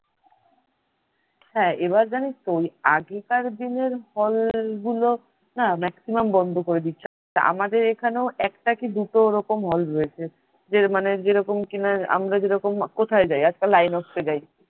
হ্যাঁ এবার জানিসতো ওই আগেকার দিনের hall গুলো না maximum বন্ধ করে দিচ্ছে। আমাদের এখানেও একটা কি দুটো ওইরকম hall রয়েছে। যে মানে যেরকম কি না আমরা যেরকম কোথায় যায় আজকাল আইনক্সে যায়